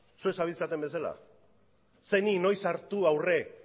zuek zabiltzaten bezala zeini noiz hartu aurre